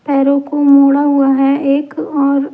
पैरों को मोड़ा हुआ है एक और ---